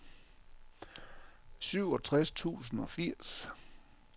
syvogtres tusind og firs